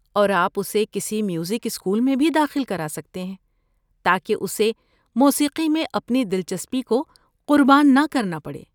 اور آپ اسے کسی میوزک اسکول میں بھی داخل کرا سکتے ہیں تاکہ اسے موسیقی میں اپنی دلچسپی کو قربان نہ کرنا پڑے۔